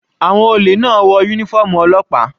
Àwọn olè náà wọ uniform ọlọ́pàá.